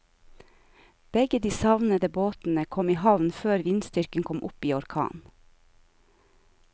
Begge de savnede båtene kom i havn før vindstyrken kom opp i orkan.